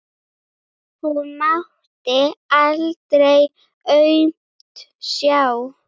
Hún mátti aldrei aumt sjá.